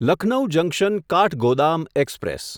Lucknow junction Kathgodam express